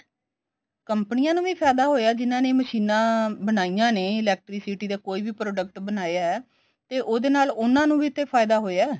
ਕੰਪਨੀਆਂ ਨੂੰ ਵੀ ਫਾਇਦਾ ਹੋਇਆ ਜਿੰਨਾ ਨੇ ਮਸ਼ੀਨਾ ਬਣਾਈਆਂ ਨੇ electricity ਦੇ ਕੋਈ ਵੀ product ਬਣਾਇਆ ਤੇ ਉਹਦੇ ਨਾਲ ਉਹਨਾ ਨੂੰ ਵੀ ਤੇ ਫਾਇਦਾ ਹੋਇਆ